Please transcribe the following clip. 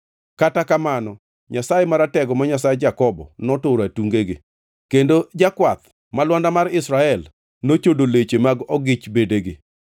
Kata kamano, Nyasaye Maratego ma Nyasach Jakobo noturo atungegi, kendo Jakwath, ma Lwanda mar Israel, nochodo leche mag ogich bedegi.